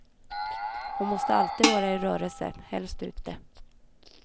Hon måste alltid vara i rörelse, helst ute.